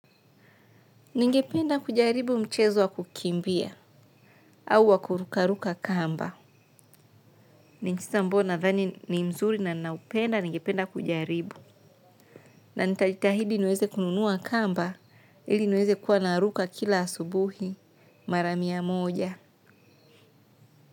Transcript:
Ningependa kujaribu mchezo wa kukimbia au wa kurukaruka kamba. Ni kisa ambayo nadhani ni mzuri na ninaupenda ningependa kujaribu. Na nitajitahidi niweze kununua kamba ili niwe naweza kuruka kila asubuhi mara mia moja.